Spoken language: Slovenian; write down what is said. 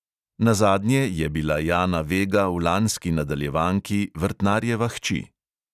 Nazadnje je bila jana vega v lanski nadaljevanki vrtnarjeva hči.